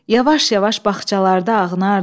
Yavaş-yavaş bağçalarda ağnardıq.